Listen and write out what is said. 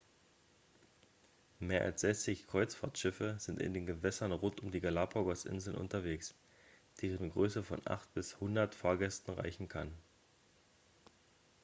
mehr als 60 kreuzfahrtschiffe sind in den gewässern rund um die galapagos-inseln unterwegs deren größe von 8 bis 100 fahrtgästen reichen kann